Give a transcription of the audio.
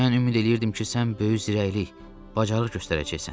Mən ümid eləyirdim ki, sən böyük zirəklilik, bacarıq göstərəcəksən.